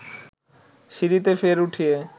সিঁড়িতে ফের উঠিয়ে